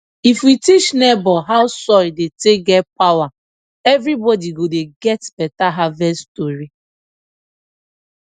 if we teach neighbor how soil dey take get power everybody go dey get better harvest tori